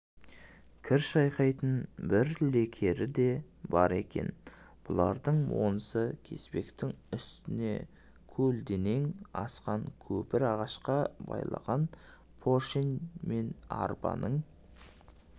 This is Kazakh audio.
кір шайқайтын бір лекері де бар екен бұлардың онысы кеспектің үстіне көлденең асқан көпір ағашқа байлаған поршень мен арбаның